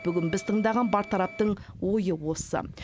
бүгін біз тыңдаған бар тараптың ойы осы